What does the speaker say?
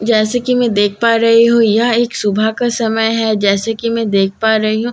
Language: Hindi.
जैसे कि मैं देख पा रही हूं यह एक सुबह का समय है जैसे कि मैं देख पा रही हूं--